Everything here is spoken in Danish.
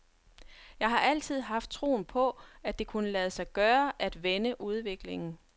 Jeg har altid haft troen på, at det kunne lade sig gøre at vende udviklingen.